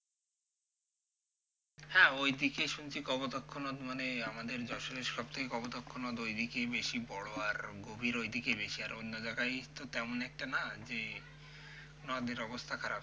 হ্যাঁ ওইদিকে শুনছি কপোতাক্ষ নদ মানে আমাদের যশোরের সবথেকে কপোতাক্ষ নদ ওইদিকেই বেশি বড়ো আর গভীর ওইদিকেই বেশি আর অন্য জায়গায় তো তেমন একটা না যে নদের অবস্থা খারাপ,